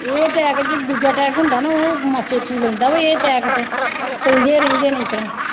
ਇਹ attack ਜੇ ਦੂਜਾ attack ਹੁੰਦਾ ਨਾ ਉਹ ਮਾ ਛੇਤੀ ਲੈਂਦਾ ਵਾ, ਇਹ attack ਤੇ, ਕਹਿੰਦੇ ਰਹਿੰਦੇ ਨੇ ਇਸ ਤਰ੍ਹਾਂ